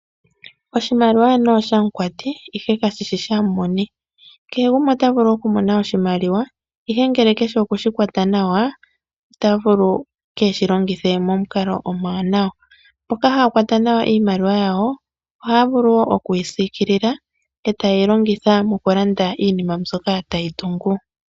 Oshimaliwa anuwa oshamukwati, ihe kashi shi shamumoni. Kehe gumwe Ota vulu okumona oshimaliwa, ihe ngele ke shi oku shi kwata nawa ota vulu kee shi longithe momukalo omuwanawa. Mboka haya kwata nawa iimaliwa ohaya vulu vulu okuyi siikila ete shi longitha mokulanda iinima mbyoka tayi tungu.